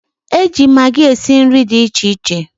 e ji magị esi nri dị iche iche.